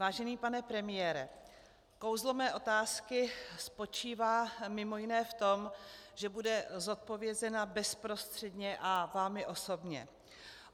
Vážený pane premiére, kouzlo mé otázky spočívá mimo jiné v tom, že bude zodpovězena bezprostředně a vámi osobně.